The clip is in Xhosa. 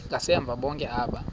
ngasemva bonke aba